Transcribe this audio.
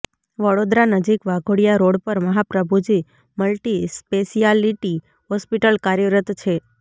વડોદરા નજીક વાઘોડિયા રોડ પર Mahaprabhuji multispeciality hospital કાર્યરત છે